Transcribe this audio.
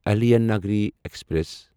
Ahilyanagari express